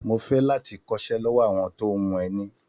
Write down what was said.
Mo fẹ́ láti kọ́ṣẹ́ lọ́wọ́ àwọn tó ń hun ẹni.